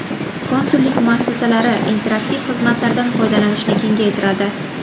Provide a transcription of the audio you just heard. Konsullik muassasalari interaktiv xizmatlardan foydalanishni kengaytiradi.